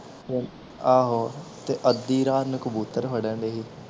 ਆਹੋ ਤੇ ਅੱਧੀ ਰਾਤ ਨੂੰ ਕਬੂਤਰ ਫੜਣ ਡਏ ਸੀ